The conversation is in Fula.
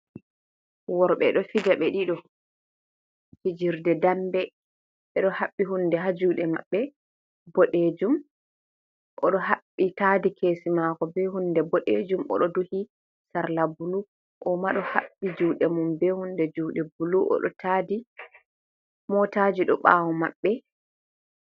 Worɓe ɗo fija ɓe ɗiɗo fijirde dambe. Ɓeɗo haɓɓi hunde haa juɗe maɓɓe boɗejum, oɗo haɓɓi tadi kesi mako be hunde boɗejum, oɗo duhi sarla bulu. O'ma ɗo haɓɓi juɗe mum be hunde juɗe bulu, oɗo taadi. Motaji ɗo ɓawo maɓɓe.